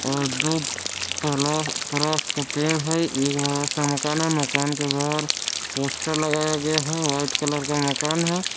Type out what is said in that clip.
और दो पला परास का पेड़ है एक बड़ा सा मकान है मकान के बाहर पोस्टर लगाया गया है व्हाइट कलर का मकान है।